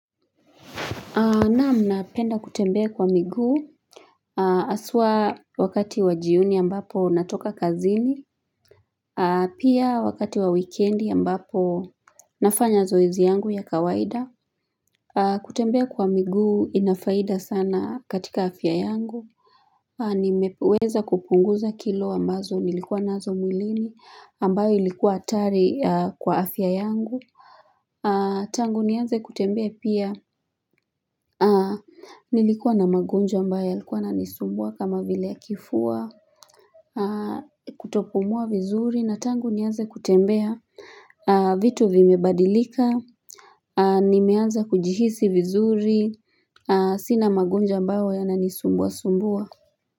Naam napenda kutembea kwa miguu haswa wakati wa jioni ambapo natoka kazini. Pia wakati wa wikendi ambapo nafanya zoezi yangu ya kawaida. Kutembea kwa miguu inafaida sana katika afya yangu. Nimeweza kupunguza kilo ambazo nilikuwa nazo mwilini ambayo ilikuwa hatari kwa afya yangu. Tangu nianze kutembea pia Nilikuwa na magonjwa ambayo yalikuwa yananisumbua kama vile ya kifua Kutopumua vizuri na tangu niaze kutembea vitu vimebadilika Nimeanza kujihisi vizuri Sina magonjwa ambayo yananisumbua sumbua.